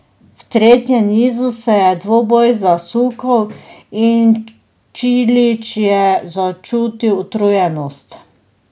V tretjem nizu se je dvoboj zasukal in Čilić je začutil utrujenost.